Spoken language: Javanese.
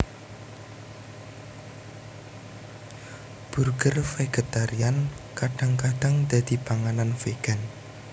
Burger vegetarian kadang kadang dadi panganan vegan